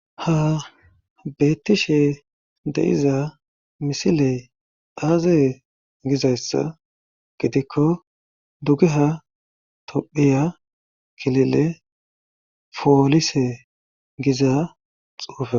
ha beettishe de'iza misiley aazee gizayssa gidikko dugeha tophiya kilile foolise giza xuufeko